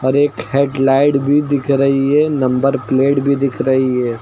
और एक हेडलाइट भी दिख रही है नंबर प्लेट भी दिख रही है।